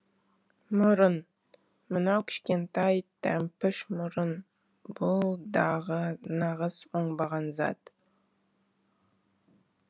мұрын мынау кішкентай тәмпіш мұрын бұл дағы нағыз оңбаған зат